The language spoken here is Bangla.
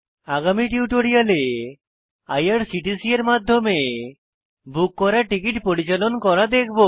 আগামী টিউটোরিয়ালে আইআরসিটিসি এর মাধ্যমে বুক করা টিকিট পরিচালন করা দেখবো